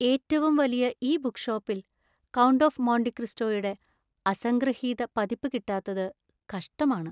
ഏറ്റവും വലിയ ഈ ബുക്ക് ഷോപ്പില്‍ "കൗണ്ട് ഓഫ് മോണ്ടി ക്രിസ്റ്റോ" യുടെ അസംഗൃഹീത പതിപ്പ് കിട്ടാത്തത് കഷ്ടമാണ്.